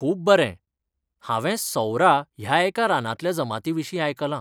खूब बरें! हांवें सौरा ह्या एका रानांतल्या जमाती विशींयआयकलां.